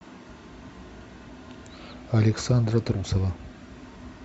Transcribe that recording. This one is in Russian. александра трусова